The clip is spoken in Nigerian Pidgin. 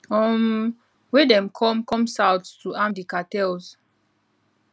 um wey dem come come south to arm di cartels